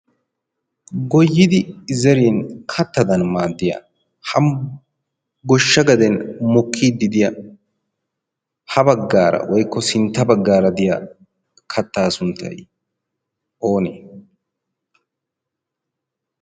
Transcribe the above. goyidi zerin kattadan maaddiya ha goshsha gaden mukkiiddi diya ha baggaara woikko sintta baggaara diya kattaa sunttai oonee?